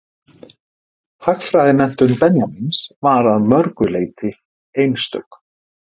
Hagfræðimenntun Benjamíns var að mörgu leyti einstök.